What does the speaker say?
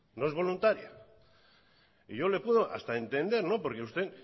no es voluntaria yo le puedo hasta entender porque usted